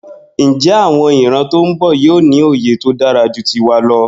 Njé àwon ìran tón bò yío ní òye tódáraju tiwa lọ?